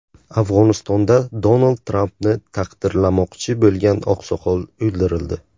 Afg‘onistonda Donald Trampni taqdirlamoqchi bo‘lgan oqsoqol o‘ldirildi.